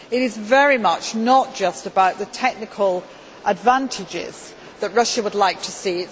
It is certainly not just about the technical advantages that Russia would like to see.